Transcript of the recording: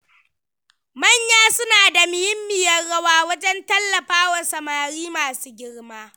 Manya suna da muhimmiyar rawa wajen tallafawa samari masu girma.